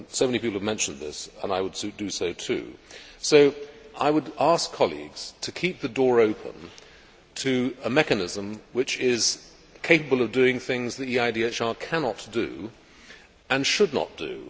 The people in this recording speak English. So many people have mentioned this and I will do so too. So I would ask colleagues to keep the door open to a mechanism which is capable of doing things that EIDHR cannot do and should not do.